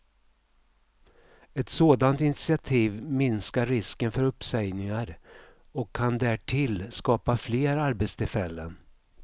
Ett sådant initiativ minskar risken för uppsägningar och kan därtill skapa fler arbetstillfällen.